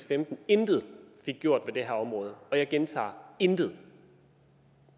femten intet fik gjort ved det her område og jeg gentager intet